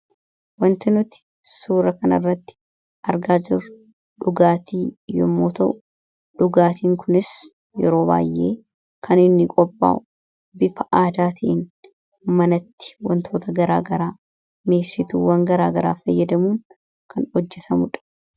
Wanti suura kana irratti argaa jirru dhugaatii yommuu ta'u dhugaatiin Kunis kan inni qaphaa'u bifa aadaatiin mana keessatti wantoota garagaraa irraa toftaalee garagaraa fayyadamuun kan qaphaa'udha.